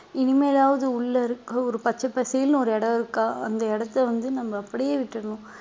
இனிமேலாவது உள்ள இருக்க ஒரு பச்சை பசேல்னு ஒரு இடம் இருக்கா அந்த இடத்தை வந்து நம்ம அப்படியே விட்டுடணும்